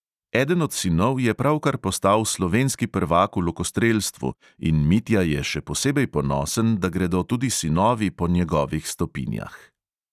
Eden od sinov je pravkar postal slovenski prvak v lokostrelstvu in mitja je še posebej ponosen, da gredo tudi sinovi po njegovih stopinjah.